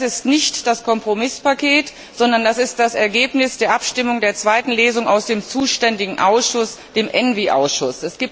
Das ist nicht das Kompromisspaket, sondern das Ergebnis der Abstimmung der zweiten Lesung im zuständigen ENVI Ausschuss.